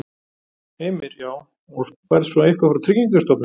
Heimir: Já, og færð svo eitthvað frá Tryggingastofnun eða?